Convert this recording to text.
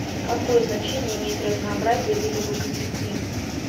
какое значение имеет разнообразие видов в экосистеме